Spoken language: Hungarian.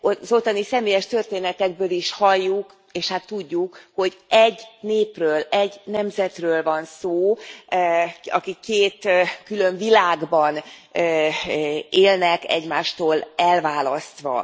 Az ottani személyes történetekből is halljuk, és hát tudjuk, hogy egy népről, egy nemzetről van szó, akik két külön világban élnek, egymástól elválasztva.